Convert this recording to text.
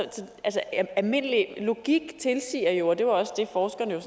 almindelig logik siger jo og det var også det forskerne